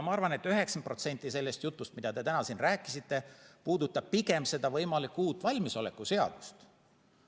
Ma arvan, et 90% sellest jutust, mida te täna siin rääkisite, puudutab pigem seda võimalikku uut valmisoleku seadust.